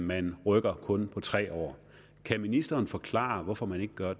man rykker kun med tre år kan ministeren forklare hvorfor man ikke gør